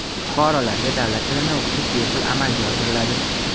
Fuqarolarga davlat tilini o‘qitish bepul amalga oshiriladi.